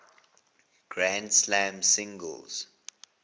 grand slam singles